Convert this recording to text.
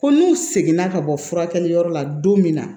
Ko n'u seginna ka bɔ furakɛliyɔrɔ la don min na